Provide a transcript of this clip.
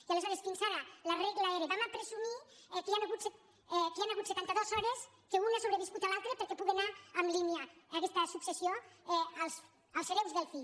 i aleshores fins ara la regla era presumirem que hi han hagut setanta dues hores que un ha sobreviscut l’altre perquè pugui anar en línia aquesta successió als hereus del fill